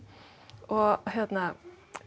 og hérna